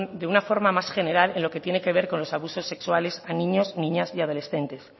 de una forma más general en lo que tiene que ver con los abusos sexuales a niños y niñas y adolescentes